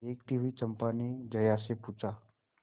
देखती हुई चंपा ने जया से पूछा